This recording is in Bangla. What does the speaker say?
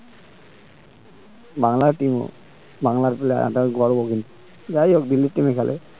বাংলার team ও বাংলার player বাংলার গর্ব দিল্লির team এ খেলে